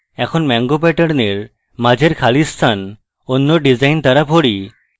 এখন mango প্যাটার্নের মাঝের খালি স্থান অন্য ডিসাইন দ্বারা ভড়ি